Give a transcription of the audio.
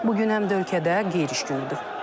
Bu gün həm də ölkədə qeyri-iş günüdür.